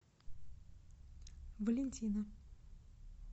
валентина